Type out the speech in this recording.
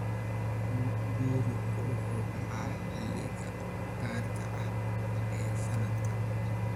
Gowracu wuxuu dhacaa xilliyada gaarka ah ee sanadka.